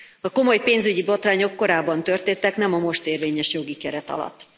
A komoly pénzügyi botrányok korábban történtek, nem a most érvényes jogi keret alatt.